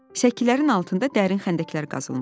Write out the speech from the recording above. Səkilərin altında dərin xəndəklər qazılmışdı.